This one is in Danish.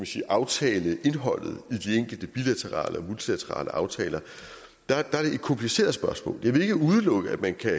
sige aftaleindholdet i de enkelte bilaterale og multilaterale aftaler er det et kompliceret spørgsmål jeg vil ikke udelukke at man kan